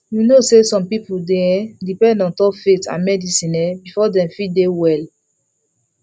you know say some people dey um depend ontop faith and medicine um before dem fit dey well